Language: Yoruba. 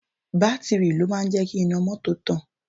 Bátìrì ló máa ń jẹ́ kí iná mọ́tò tàn